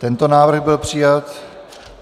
Tento návrh byl přijat.